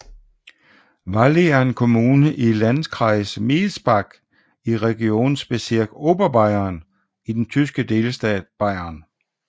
Valley er en kommune i Landkreis Miesbach i Regierungsbezirk Oberbayern i den tyske delstat Bayern